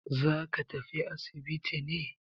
Za ka tafi asibiti ne?